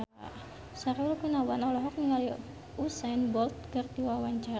Sahrul Gunawan olohok ningali Usain Bolt keur diwawancara